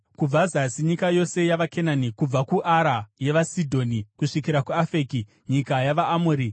kubva zasi nyika yose yavaKenani, kubva kuAra yevaSidhoni kusvikira kuAfeki, nyika yavaAmori,